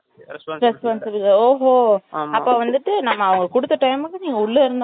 அப்ப வந்துட்டு நம்ம அவங்க கொடுத்த time க்கு உள்ள இருந்தாலும் இல்லாட்டி அந்த நேரத்துல இருந்தா தான் அவங்களுக்கு கணக்கு